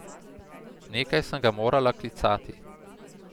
Nekaj sem ga morala klicati.